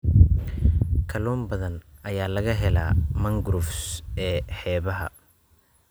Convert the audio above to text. Kalluun badan ayaa laga helaa mangroves ee xeebaha.